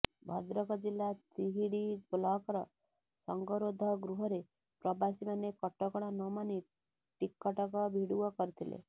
ଭଦ୍ରକ ଜିଲ୍ଲା ତିହିଡି ବ୍ଲକର ସଂଗରୋଧ ଗୃହରେ ପ୍ରବାସୀମାନେ କଟକଣା ନମାନି ଟିକଟକ ଭିଡିଓ କରିଥିଲେ